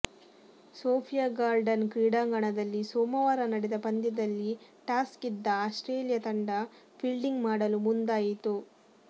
Sophia Gardens ಕ್ರೀಡಾಂಗಣದಲ್ಲಿ ಸೋಮವಾರ ನಡೆದ ಪಂದ್ಯದಲ್ಲಿ ಟಾಸ್ ಗೆದ್ದ ಆಸ್ಟ್ರೇಲಿಯಾ ತಂಡ ಫೀಲ್ಡಿಂಗ್ ಮಾಡಲು ಮುಂದಾ ಯಿತು